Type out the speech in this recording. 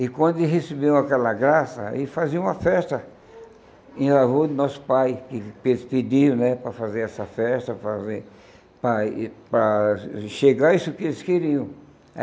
E quando eles recebiam aquela graça, eles faziam uma festa em favor do nosso pai, que eles pediam, né, para fazer essa festa, para ver para para chegar isso que eles queriam.